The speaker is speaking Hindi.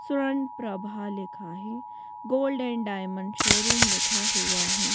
सुरण प्रभा लिखा है गोल्ड एंड डायमंड शोरूम लिखा हुआ है।